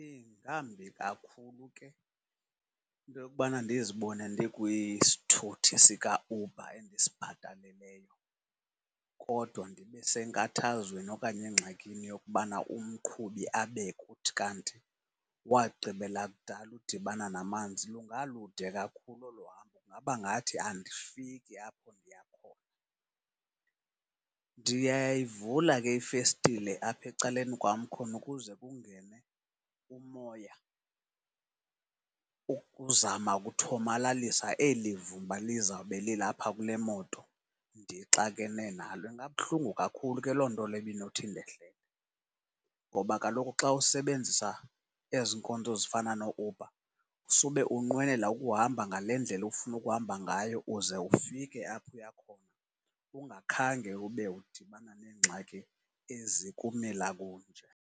Ingambi kakhulu ke into yokubana ndizibone ndikwisithuthi sikaUber endisibhataleleyo kodwa ndibe senkathazweni okanye engxakini yokubana umqhubi abe kuthi kanti wagqibela kudala udibana namanzi. Lungalude kakhulu olo hambo, kungaba ngathi andifiki apho ndiya khona. Ndiyayivula ke ifestile apha ecaleni kwam khona ukuze kungene umoya ukuzama ukuthomalalisa eli vumba lizawube lilapha kule mot, ndixakene nalo. Ingabuhlungu kakhulu ke loo nto leyo uba inothi indehlele, ngoba kaloku xa usebenzisa ezi nkonzo zifana nooUber sube unqwenela ukuhamba ngale ndlela ufuna ukuhamba ngayo uze ufike apho uya khona ungakhange ube udibana neengxaki ezikumila kunje.